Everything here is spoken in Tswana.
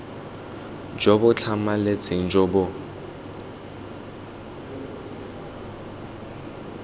jo bo tlhamaletseng jo bo